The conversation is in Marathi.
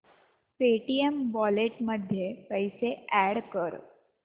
पेटीएम वॉलेट मध्ये पैसे अॅड कर